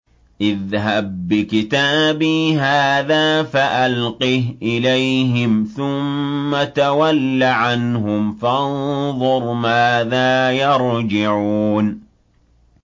اذْهَب بِّكِتَابِي هَٰذَا فَأَلْقِهْ إِلَيْهِمْ ثُمَّ تَوَلَّ عَنْهُمْ فَانظُرْ مَاذَا يَرْجِعُونَ